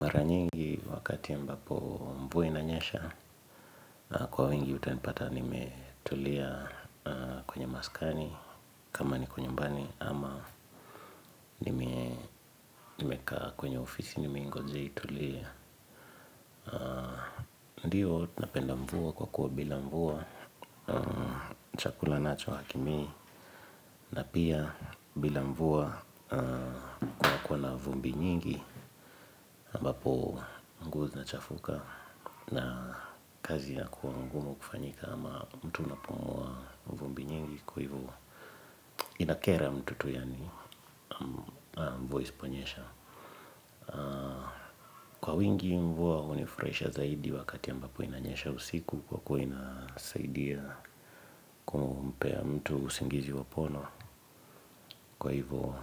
Mara nyingi wakati ya mbapo mvua inanyesha kwa wingi, utanipata nimetulia kwenye maskani kama niko nyumbani ama nimekaa kwenye ofisi nimeingoja itulie. Ndiyo napenda mvua kwa kuwa bila mvua chakula nacho hakimei. Na pia bila mvua kuna kuwa na vumbi nyingi ambapo nguo zinachafuka na kazi inakuwa ngumu kufanyika ama mtu unapua vumbi nyingi kwa hivo inakera mtu tu yani mvua isiponyesha. Kwa wingi mvua hunifurahisha zaidi wakati ambapo inanyesha usiku kwa kuwa inasaidia kumpea mtu usingizi wa pono kwa hivyo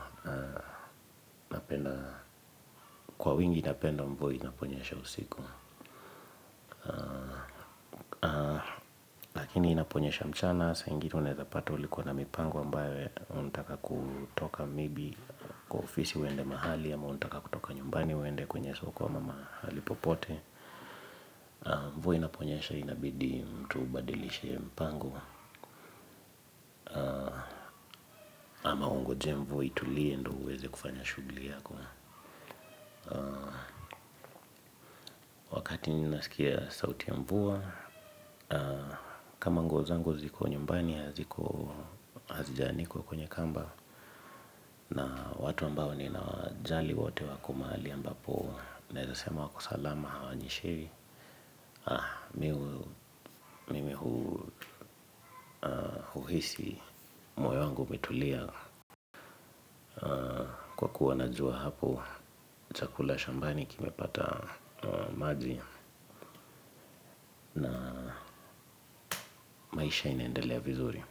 ninapenda mvua inaponyesha usiku lakini inaponyesha mchana, saa ingine unaweza pata ulikuwa na mipango ambayo unataka kutoka may be kwa ofisi uende mahali ama unataka kutoka nyumbani uende kwenye soko ama mahali popote mvua inaponyesha inabidi mtu ubadilishe mpango ama ungojee mvua itulie ndo uweze kufanya shughuli yako wakatini ninasikia sauti ya mvua kama nguo zangu ziko nyumbani haziko hazijaanikwa kwenye kamba, na watu ambao ninawajali wote wako mahali ambapo naweza sema wako salama hawanyeshewi, mimi huisi moyo wangu metulia kwa kuwa najua hapo chakula shambani kime pata maji na maisha inaendelea vizuri.